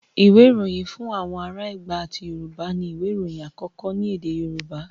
Ìwé Ìròyìn Fún Àwọn Ará Ẹ̀gbá àti Yorùbá ni ìwé ìròyìn àkọ́kọ́ ní èdè Yorùbá.